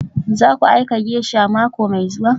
Zaku aika geisha mako mai zuwa?